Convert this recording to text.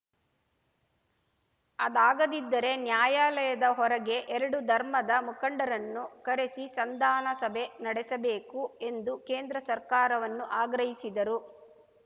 ಅದಾಗದಿದ್ದರೆ ನ್ಯಾಯಾಲಯದ ಹೊರಗೆ ಎರಡು ಧರ್ಮದ ಮುಖಂಡರನ್ನು ಕರೆಸಿ ಸಂದಾನ ಸಭೆ ನಡೆಸಬೇಕು ಎಂದು ಕೇಂದ್ರ ಸರ್ಕಾರವನ್ನು ಆಗ್ರಹಿಸಿದರು